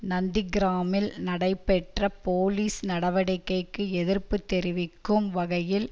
நந்திக்கிராமில் நடைபெற்ற போலீஸ் நடவடிக்கைக்கு எதிர்ப்பு தெரிவிக்கும் வகையில்